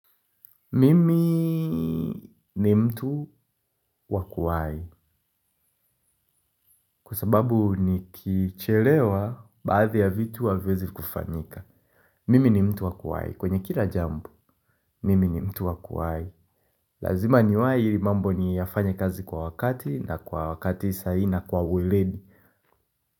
Mimi ni mtu wa kuwahi. Kwa sababu nikichelewa baadhi ya vitu haviwezi kufanyika mimi ni mtu wa kuwahi kwenye kila jambo. Mimi ni mtu wakuwai. Lazima niwahi ili mambo ni yafanye kazi kwa wakati na kwa wakati sahii na kwa ueledi.